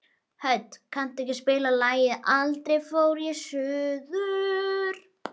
Hödd, kanntu að spila lagið „Aldrei fór ég suður“?